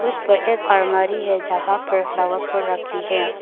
उस पर एक अलमारी है जहां पर फ्लावरपॉट रखी है।